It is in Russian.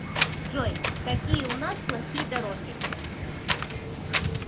джой какие у нас плохие дороги